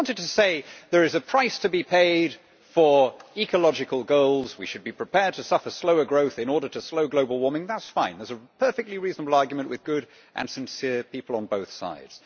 If you wanted to say there is a price to be paid for ecological goals, we should be prepared to suffer slower growth in order to slow global warming', that is fine and that is a perfectly reasonable argument with good and sincere people on both sides.